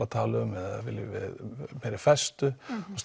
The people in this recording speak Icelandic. að tala um eða viljum við meiri festu